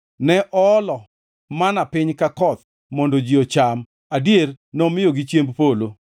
ne oolo mana piny ka koth mondo ji ocham, adier, nomiyogi chiemb polo.